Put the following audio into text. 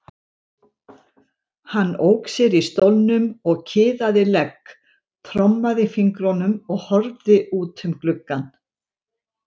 Hann ók sér í stólnum og kiðaði legg, trommaði fingrum og horfði út um gluggann.